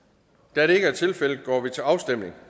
da det ikke er tilfældet går vi til afstemning